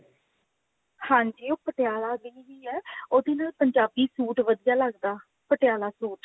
ਹਾਂਜੀ ਉਹ ਪਟਿਆਲਾ ਦੀ ਵੀ ਹੈ ਉਹਦੇ ਨਾਲ ਪੰਜਾਬੀ suit ਵਧੀਆ ਲਗਦਾ ਪਟਿਆਲਾ suit